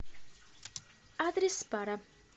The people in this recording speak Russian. адрес пара